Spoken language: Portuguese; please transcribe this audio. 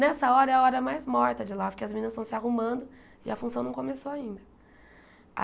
Nessa hora é a hora mais morta de lá, porque as meninas estão se arrumando e a função não começou ainda.